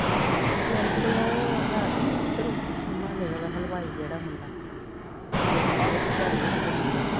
ਪਿੰਡ ਚ ਓ ਹੈ ਕੇ ਨੀ ਓਧਰ ਰੁਮਾਲੇ ਵਾਲਾ ਹਲਵਾਈ ਜੇੜਾ ਮੁੰਡਾ ਓਦੀ ਘਰ ਦੇ ਕੋਲੋਂ ਲਿਆਂਦੀ ਆ